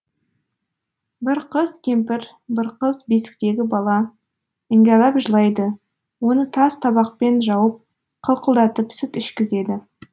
бір қыз кемпір бір қыз бесіктегі бала іңгәлап жылайды оны тас табақпен жауып қылқылдатып сүт ішкізеді